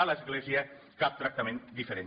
a l’església cap tractament diferent